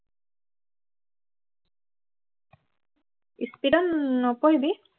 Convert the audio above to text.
speed ত নপঢ়িবি